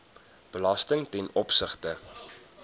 belasting ten opsigte